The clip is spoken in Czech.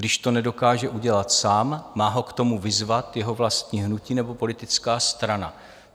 Když to nedokáže udělat sám, má ho k tomu vyzvat jeho vlastní hnutí nebo politická strana.